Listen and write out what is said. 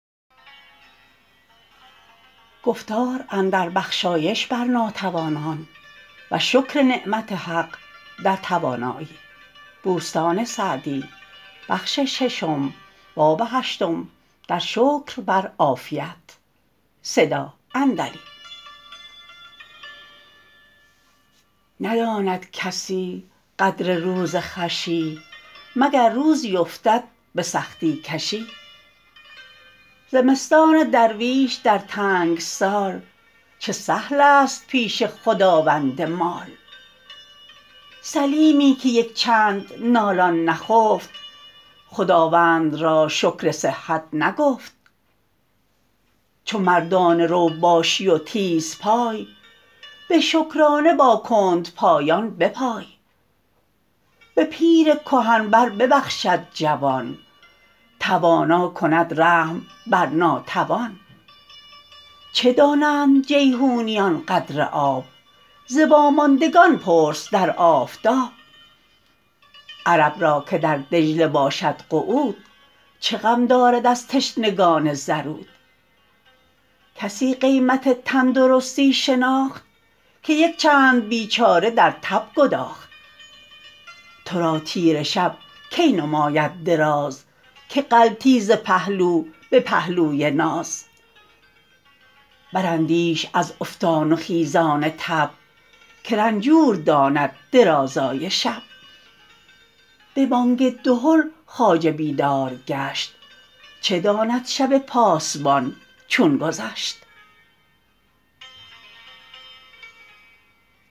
نداند کسی قدر روز خوشی مگر روزی افتد به سختی کشی زمستان درویش در تنگ سال چه سهل است پیش خداوند مال سلیمی که یک چند نالان نخفت خداوند را شکر صحت نگفت چو مردانه رو باشی و تیز پای به شکرانه با کندپایان بپای به پیر کهن بر ببخشد جوان توانا کند رحم بر ناتوان چه دانند جیحونیان قدر آب ز واماندگان پرس در آفتاب عرب را که در دجله باشد قعود چه غم دارد از تشنگان زرود کسی قیمت تندرستی شناخت که یک چند بیچاره در تب گداخت تو را تیره شب کی نماید دراز که غلطی ز پهلو به پهلوی ناز براندیش از افتان و خیزان تب که رنجور داند درازای شب به بانگ دهل خواجه بیدار گشت چه داند شب پاسبان چون گذشت